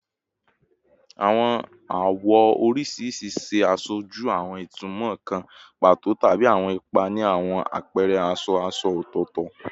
Awọn awọ oriṣiriṣi ṣe aṣoju awọn itumọ kan pato tabi awọn ipa ni awọn apẹrẹ aṣọ aṣọ ọtọtọ